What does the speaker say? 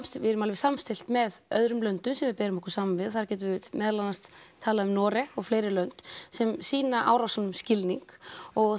við erum alveg samstillt með öðrum löndum sem við berum okkur saman við þar getum við meðal annars talað um Noreg og fleiri lönd sem sýna árásunum skilning og